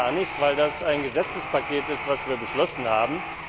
Das geht gar nicht, weil das ein Gesetzespaket ist, das wir beschlossen haben.